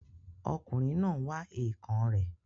Ọkùnrin náà n wá èèkàn rẹ̀